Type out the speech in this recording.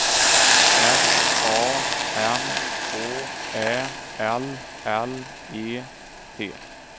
S A M H Ä L L E T